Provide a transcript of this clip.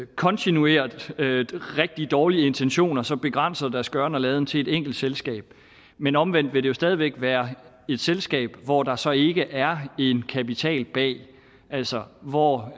kontinuerligt har rigtig dårlige intentioner så begrænser deres gøren og laden til et enkelt selskab men omvendt vil det jo stadig væk være et selskab hvor der så ikke er en kapital bag altså hvor